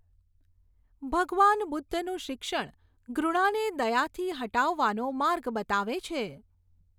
ભગવાન બુદ્ધનું શિક્ષણ ઘૃણાને દયાથી હટાવવાનો માર્ગ બતાવે છે.